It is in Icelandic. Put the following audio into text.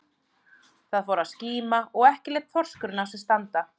Það fór að skíma og ekki lét þorskurinn á sér standa.